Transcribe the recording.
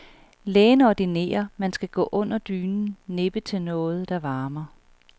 Lægen ordinerer man skal gå under dynen, nippe til noget, der varmer.